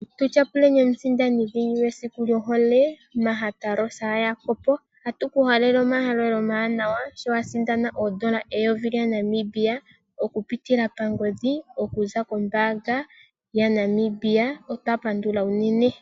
Tu tyapuleni omusindani dhingi mesiku lyohole Maggie Rosa Jacob, oha tuku halele omayambeko omawanawa, sho wa sindana oondola eyovi lyaNamibia okupitila kongodhi, okuza kombaanga yaNamibia. Otwa pandula unene.